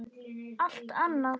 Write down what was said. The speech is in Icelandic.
Allt annað!